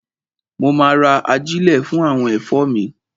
Mo ma ra ajílẹ̀ fún àwọn ẹ̀fọ́ mi.